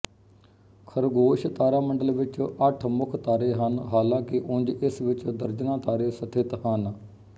ਖ਼ਰਗੋਸ਼ ਤਾਰਾਮੰਡਲ ਵਿੱਚ ਅੱਠ ਮੁੱਖ ਤਾਰੇ ਹਨ ਹਾਲਾਂਕਿ ਉਂਜ ਇਸ ਵਿੱਚ ਦਰਜਨਾਂ ਤਾਰੇ ਸਥਿਤ ਹਨ